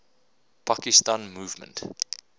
pakistan movement